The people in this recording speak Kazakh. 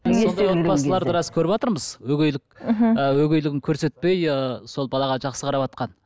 отбасыларды рас көріватырмыз өгейлік мхм өгейлігін көрсетпей ы сол балаға жақсы қараватқан